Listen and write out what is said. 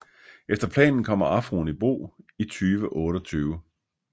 Efter planen kommer Afroen i brug i 2028